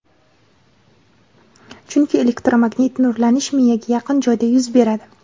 chunki elektromagnit nurlanish miyaga yaqin joyda yuz beradi.